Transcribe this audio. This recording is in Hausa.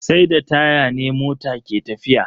Sai da taya ne mota ke tafiya.